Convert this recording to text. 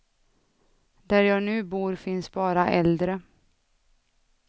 Där jag nu bor finns bara äldre.